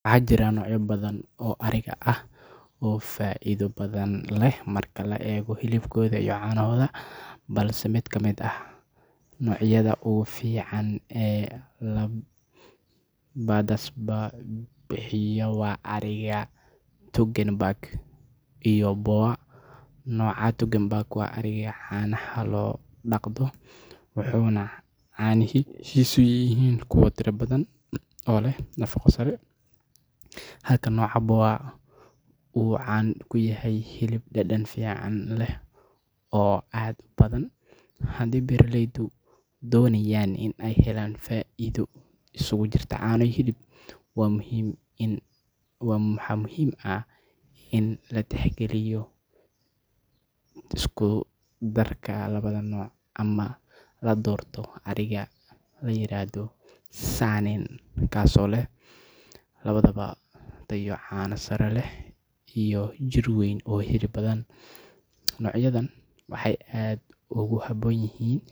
Waxaa jira noocyo badan oo ariga ah oo faa’iido badan leh marka la eego hilibkooda iyo caanahooda, balse mid ka mid ah noocyada ugu fiican ee labadaasba bixiya waa ariga Toggenburg iyo Boer. Nooca Toggenburg waa ariga caanaha loo dhaqdo, wuxuuna caanihiisu yihiin kuwo tiro badan oo leh nafaqo sare, halka nooca Boer uu caan ku yahay hilib dhadhan fiican leh oo aad u badan. Haddii beeraleydu doonayaan in ay helaan faa’iido isugu jirta caano iyo hilib, waxaa muhiim ah in la tixgeliyo isku darka labada nooc ama la doorto ariga la yiraahdo Saanen kaasoo leh labadaba tayo caano sare leh iyo jidh weyn oo hilib badan. Noocyadan waxay aad ugu habboon yihiin